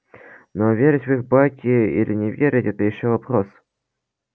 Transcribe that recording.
но верить в их байки или не верить это ещё вопрос